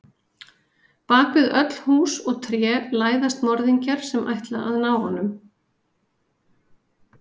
Bak við öll hús og tré læðast morðingjar sem ætla að ná honum.